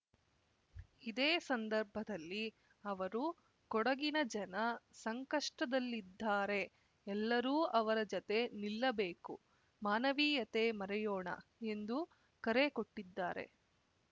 ಇದೇ ಸಂದರ್ಭದಲ್ಲಿ ಅವರು ಕೊಡಗಿನ ಜನ ಸಂಕಷ್ಟದಲ್ಲಿದ್ದಾರೆ ಎಲ್ಲರೂ ಅವರ ಜತೆ ನಿಲ್ಲಬೇಕು ಮಾನವೀಯತೆ ಮರೆಯೋಣ ಎಂದು ಕರೆ ಕೊಟ್ಟಿದ್ದಾರೆ